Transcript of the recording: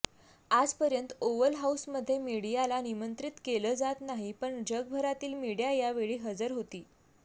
आजपर्यंत ओवल हाऊसमध्ये मीडियाला निमंत्रित केलं जात नाही पण जगभरातील मीडिया यावेळी हजर होती